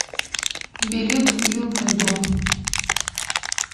билет уютный дом